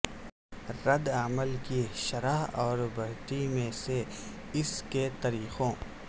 رد عمل کی شرح اور بڑھتی میں سے اس کے طریقوں